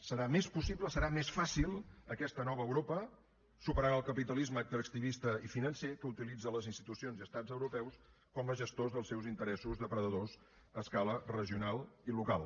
serà més possible serà més fàcil aquesta nova europa superant el capitalisme extractivista i financer que utilitza les institucions i estats europeus com a gestors dels seus interessos depredadors a escala regional i local